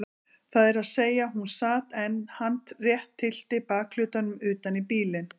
Það er að segja hún sat en hann rétt tyllti bakhlutanum utan í bílinn.